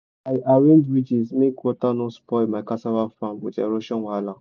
i arrange ridges make water no spoil my cassava farm with erosion wahala.